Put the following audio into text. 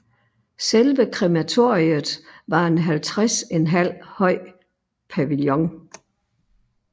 Selve krematoriet var en 50½ høj pavillon